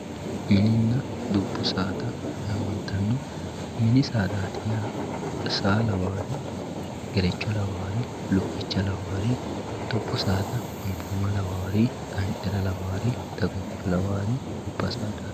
mininna dubbu saada yaamantanno mini saadaati yaa saa lawawoori gerecho lawawoori lukkicha lawawoori dubbu saada anbooma lawawoori gancara lawawoori daguncho lawawoori gobba saadaati.